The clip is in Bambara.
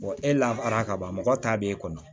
e lafara kaban mɔgɔ ta b'e kɔnɔ